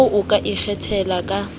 oo o ka ikgethelang ka